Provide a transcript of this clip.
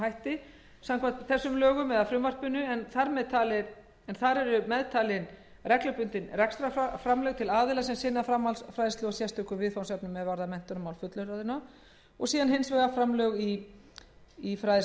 hætti samkvæmt lögum þessum en þar eru meðtalin reglubundin rekstrarframlög til aðila sem sinna framhaldsfræðslu og sérstökum viðfangsefnum er varða menntunarmál fullorðinna b framlög í fræðslusjóð fræðslusjóður hefur